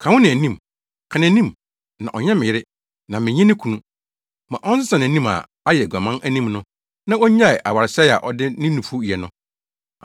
“Ka wo na anim, ka nʼanim, na ɔnyɛ me yere na menyɛ ne kunu. Ma ɔnsesa nʼanim a ayɛ aguaman anim no na onnyae awaresɛe a ɔde ne nufu yɛ no.